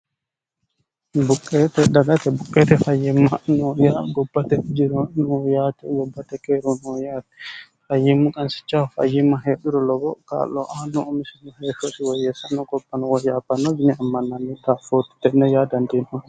buqqeete dagate buqqeete fayyimma nooya gobbate jiro no yaate gobbate keeru noo yaatti fayyimma qansichahu fayyimma heedhuru lobo kaa'loaanno u misinni heessosi woyyessanno gobpano wohyaapanno yini ammannaanni taaffootti tenne yaa dandiino